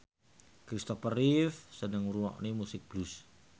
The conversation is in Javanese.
Christopher Reeve seneng ngrungokne musik blues